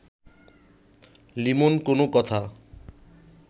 লিমন কোনো কথা